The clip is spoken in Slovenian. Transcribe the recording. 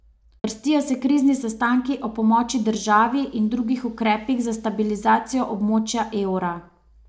Vrstijo se krizni sestanki o pomoči državi in drugih ukrepih za stabilizacijo območja evra.